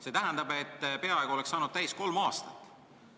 See tähendab, et peaaegu oleks saanud täis kolm aastat.